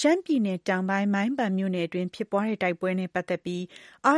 ရှမ်းပြည်နယ်တောင်ပိုင်း မိုင်းပန်မြို့နယ်အတွင်းဖြစ်ပွားတဲ့ တိုက်ပွဲနဲ့ပတ်သက်ပြီး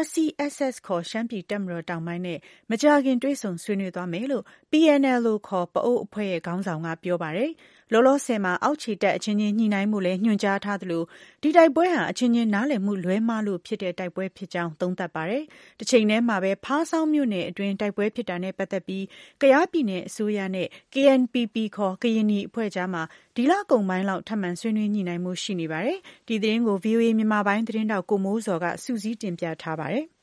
RCSS ခေါ် ရှမ်းပြည်တပ်မတော်-တောင်ပိုင်းနဲ့ မကြာခင် တွေ့ဆုံဆွေးနွေးသွားမယ်လို့ PNLO ခေါ် ပအိုဝ်းအဖွဲ့ရဲ့ ခေါင်းဆောင်က ပြောဆိုပါတယ်။ လောလောဆည်မှာ အောက်ခြေတပ်အချင်းချင်းညှိနှိုင်းဖို့လည်း ညွှန်ကြားထားသလို ဒီတိုက်ပွဲဟာ အချင်းချင်းနားလည်မှုလွဲှမှားလို့ဖြစ်ပွားတဲ့ တိုက်ပွဲဖြစ်ကြောင်း သုံးသပ်ပါတယ်။ တချိန်တည်းမှာပဲ ဖားဆောင်းမြို့နယ်အတွင်း တိုက်ပွဲဖြစ်ခဲ့တာနဲ့ပတ်သက်ပြီး ကယားပြည်နယ်အစိုးရနဲ့ KNPP ခေါ် ကရင်နီအဖွဲ့အကြားမှာ ဒီလကုန်ပိုင်းလောက် ထပ်မံဆွေးနွေးညှိနှိုင်းဖို့ ရှိနေပါတယ်။ ဒီသတင်းကိုတော့ ဗွီအိုအေမြန်မာပိုင်းရဲ့ သတင်းထောက် ကိုမိုးဇော်က စုစည်းတင်ပြထားပါတယ်။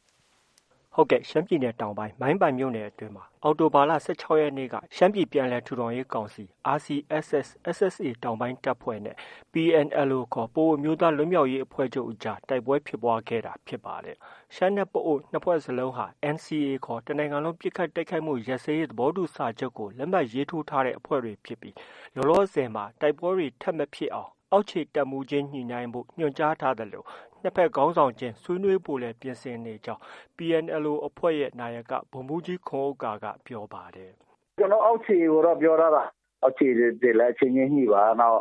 ရှမ်းပြည်နယ်တောင်ပိုင်း မိုင်းပန်မြို့နယ်အတွင်းမှာ အောက်တိုဘာလ ၁၆ရက်နေ့ က ရှမ်းပြည်ပြန်လည်ထူထောင်ရေးကောင်စီ RCSS ခေါ် SSA တောင်ပိုင်းတပ်ဖွဲ့နဲ့ PNLO ခေါ် ပအိုဝ်းအမျိုးသားလွတ်မြောက်ရေးအဖွဲ့ချုပ်အကြား တိုက်ပွဲဖြစ်ပွားခဲ့တာဖြစ်ပါတယ်။ ရှမ်းနဲ့ ပအိုဝ်း ၂ဖွဲ့လုံးဟာ NCA ခေါ် တစ်နိုင်ငံလုံး ပစ်ခတ်တိုက်ခိုက်မှု ရပ်စဲရေး သဘောတူစာချုပ်ကို လက်မှတ်ရေးထိုးထားတဲ့အဖွဲ့တွေဖြစ်ပြီး လောလောဆည်မှာ တိုက်ပွဲတွေ ထပ်မဖြစ်အောင် အောက်ခြေတပ်မှုးခြင်းညှိနှိုင်းဖု့ိ ညွှန်ကြားထားသလို နှစ်ဘက် ခေါင်းဆောင်ခြင်း ဆွေးနွေးဖို့လည်း ပြင်ဆင်နေကြောင်း PNLO အဖွဲ့ရဲ့ နာယက ဗိုလ်မှုးကြီး ခွန်ဥက္ကာက ပြောပါတယ်။ “ကျနော်တို့ အောက်ခြေကိုတော့ ပြောထားတာ။ အောက်ခြေတွေလည်း အချင်းချင်းညှိပါ။ နောက်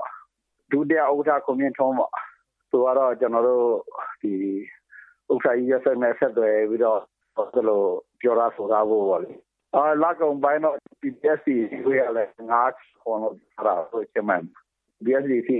ဒုတိယဥက္ကဌ ခွန်မြင့်ထွန်းပေါ့ သူကတော့ ကျနော်တို့ ဒီ ဥက္ကဌကြီး ယွတ်ဆစ်နဲ့ ဆက်သွယ်ပြီးတော့ ပြောထားဆိုထားဖို့ ပေါ့လေ။ လကုန်ပိုင်းတော့ PPST အစည်းအဝေးကလည်း ၅-၇ လောက် ပြောထားတာ ချင်းမိုင်မှာ။ PPST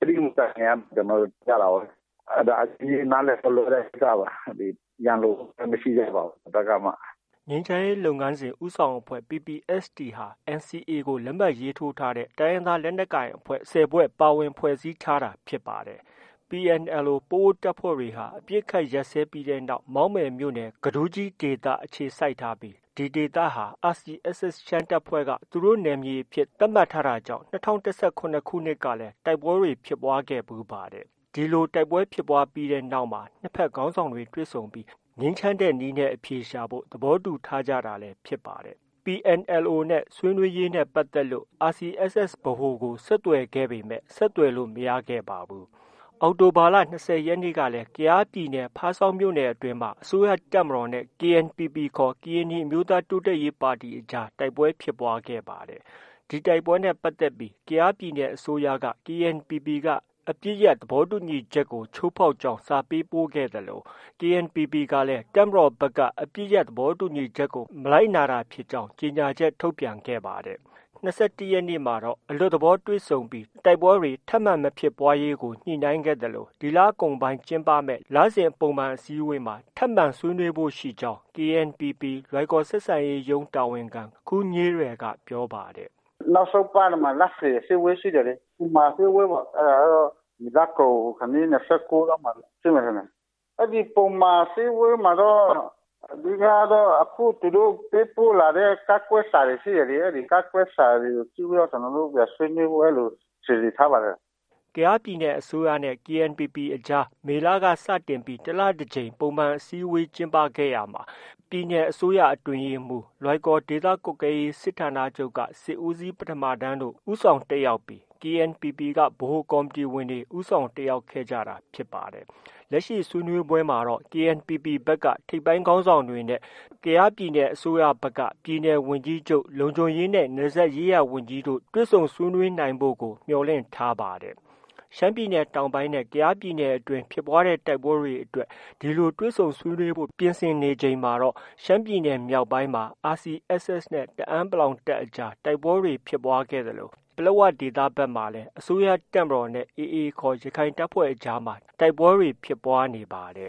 အစည်းအဝေး မတိုင်ခင် ကျနော်တို့ တွေ့ကြတာပေါ့ဗျာ။ အဲဒါ အချင်းချင်းနားလည်မှုလွဲတဲ့ ကိစ္စပါ။ ရန်လိုမှုလည်း မရှိကြပါဘူး။ ဘယ်ဘက်ကမှ။” ငြိမ်းချမ်းရေးလုပ်ငန်စဉ် ဦးဆောင်အဖွဲ့ PPST ဟာ NCA ကို လက်မှတ်ရေးထိုးထားတဲ့ လက်နက်ကိုင်အဖွဲ့ ၁၀ဖွဲ့ ပါဝင်ဖွဲ့စည်းထားတာဖြစ်ပါတယ်။ PNLO ပအိုဝ်းတပ်ဖွဲ့တွေဟာ အပစ်အခတ်ရပ်စဲပြီးနောက် မောက်မယ်မြို့နယ် ကဒူးကြီးဒေသအခြေစိုက်ထားပြီး ဒီဒေသဟာ RCSS ရှမ်းတပ်ဖွဲ့က သူတို့ နယ်မြေအဖြစ် သတ်မှတ်တာတွေ ရှိတာကြောင့် ၂၀၁၇ခုနှစ်ကလည်း တိုက်ပွဲတွေဖြစ်ပွားခဲ့ဖူးပါတယ်။ တိုက်ပွဲဖြစ်ပွားပြီးနောက်မှာတော့ နှစ်ဘက်ခေါင်းဆောင်တွေ့ဆုံပြီး ငြိမ်းချမ်းတဲ့နည်းနဲ့အဖြေရှာဖို့ သဘောတူထားကြတာလည်း ဖြစ်ပါတယ်။ PNLO ဆွေးနွေးရေးနဲ့ပတ်သက်ပြီး RCSS ဗဟိုကို ဆက်သွယ်ခဲ့ပေမဲ့ ဆက်သွယ်လို့ မရခဲ့ပါဘူး။ အောက်တိုဘာလ ၂၀ရက်နေ့က ကယားပြည်နယ် ဖားဆောင်မြို့နယ်အတွင်းမှာ အစိုးရတပ်မတော်နဲ့ KNPP ခေါ် ကရင်နီအမျိုးသားတိုးတက်ရေးပါတီအကြား တိုက်ပွဲဖြစ်ပွားခဲ့ပါတယ်။ ဒီတိုက်ပွဲနဲ့ပတ်သက်ပြီး ကယားပြည်နယ်အစိုးရက KNPP က အပစ်ရပ် သဘောတူညီချက် ကို ချိုးဖောက်ကြောင်း စာပေးပို့ခဲ့သလို KNPPကလည်း တပ်မတော်ဘက်က အပစ်ရပ်သဘောတူညီချက်ကို မလိုက်နာတာဖြစ်ကြောင်း ကြေညာချက် ထုတ်ပြန်ခဲ့ပါတယ်။ ၂၁ရက်နေ့မှာတော့ အလွတ်သဘောတွေ့ဆုံပြီး တိုက်ပွဲတွေ ဆက်မဖြစ်ပွားရေးကို ညှိနှိုင်းခဲ့သလို ဒီလကုန်ပိုင်းမှာကျင်းပမယ့် လစဉ်ပုံမှန်အစည်းအဝေးမှာ် ထပ်မံဆွေးနွေးဖို့ ရှိကြောင်း KNPP လွိုင်ကော်ဆက်ဆံရေးရုံးတာဝန်ခံ ခူးညေးရယ်က ပြောပါတယ်။ “နောက်ဆုံးပတ်ထဲမှာ လစဉ်အစည်းအဝေးရှိတယ်လေ။ ပုံမှန်အစည်းအဝေးပေါ့။ အဲဒါကတော့ ဒီလကုန်ခါနီး ၂၉ရက်နေ့လောက်မှာ ဖြစ်မယ်ထင်တယ်။ အဲဒီ ပုံမှန်အစည်းအဝေးမှာတော့ အဓိကကတော့ အခု သူတို့ ပေးပို့လာတဲ့ ကန့်ကွက်စာတွေ ရှိတယ်လေ။ အဲဒီကန့်ကွက်စာကို အစည်းအဝေးမှာ ကျနော်တို့ အစည်းအဝေးမှာ ပြန်ဆွေးနွေးဖို့ စီစဉ်ထားပါတယ်။ ” ကယားပြည်နယ် အစိုးရနဲ့ KNPPအကြားမှာ မေလက စတင်ပြီး တစ်လတကြိမ်ပုံမှန် အစည်းအဝေးကျင်းပခဲ့ရာမှာ ပြည်နယ်အစိုးရအတွင်းရေးမှုး၊ လွိုင်ကော် ဒေသကွပ်ကဲရေးစစ်ဌာနချုပ်က စစ်ဦးစီးပထမတန်း တို့ ဦးဆောင်တက်ရောက်ပြီး KNPPက ဗဟိုကော်မတီဝင်တွေ ဦးဆောင်တက်ရောက်ကြတာဖြစ်ပါတယ်။ လက်ရှိဆွေးနွေးပွဲမှာတော့ KNPP ဘက်က ထိပ်ပိုင်းခေါင်းဆောင်တွေနဲ့ပြည်နယ် ဝန်ကြီးချုပ်၊ လုံခြုံရေးနဲ့ နယ်စပ်ရေးရာဝန်ကြီးတို့ တွေ့ဆုံဆွေးနွေးနိုင်ဖို့ကို မျှော်လင့်ထားပါတယ်။ ရှမ်းပြည်နယ်တောင်ပိုင်းနဲ့ ကယားပြည်နယ်တွင်း ဖြစ်ပွားတဲ့ တိုက်ပွဲတွေအတွက် ဒီလို တွေ့ဆုံဆွေးနွေးဖို့ ပြင်ဆင်နေတဲ့ တချိန်တည်းမှာတော့ ရှမ်းပြည်နယ်မြောက်ပိုင်းမှာ RSCC နဲ့ တအာင်း တပ်အကြား တိုက်ပွဲဖြစ်ပွားခဲ့သလို ပလက်ဝဒေသဘက်မှာလည်း အစိုးရတပ်မတော်နဲ့ AA ခေါ် ရခိုင်တပ်ဖွဲ့အကြား တိုက်ပွဲတွေ ဖြစ်ပွားခဲ့ပါတ